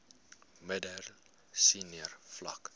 middel senior vlak